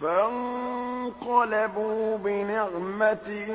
فَانقَلَبُوا بِنِعْمَةٍ